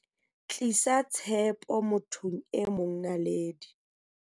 Tlisa tshepo mothong e mong Naledi.